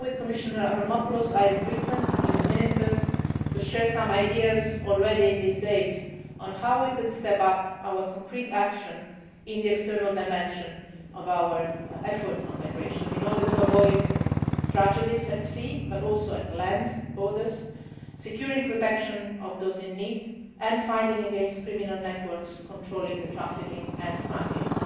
time. Together with Commissioner Avramopoulos, I have written to the Ministers to share some ideas already now on how we could step up our concrete action in the external dimension of our effort on migration in order to avoid tragedies at sea but also at land borders, securing protection for those in need and fighting the criminal networks controlling the trafficking and smuggling.